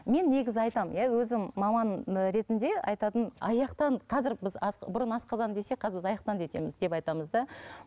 мен негізі айтамын иә өзім маман ретінде айтатын аяқтан қазір біз бұрын асқазан десек қазір біз деп айтамыз да